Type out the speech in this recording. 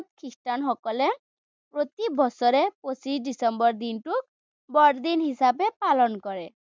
খ্ৰীষ্টান সকলে প্ৰতি বছৰে পছিশ ডিচেম্বৰ দিনটো বৰদিন হিচাপে পালন কৰে।